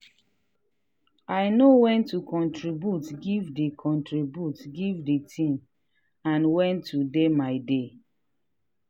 i know when to contribute give the contribute give the team and when to dey my dey.